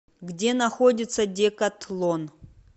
где находится декатлон